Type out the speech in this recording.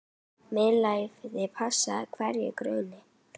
MEÐLÆTI passar hverjum grunni.